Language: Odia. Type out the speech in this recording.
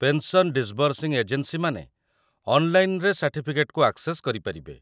ପେନ୍‌ସନ୍ ଡିସ୍‌ବର୍ସିଂ ଏଜେନ୍ସିମାନେ ଅନ୍‌ଲାଇନ୍‌‌ରେ ସାର୍ଟିଫିକେଟ୍‌କୁ ଆକ୍‌ସେସ୍ କରିପାରିବେ ।